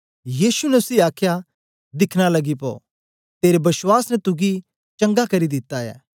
यीशु ने उसी आखया दिखन लगी पो तेरे बश्वास ने तुगी चंगा करी दिता ऐ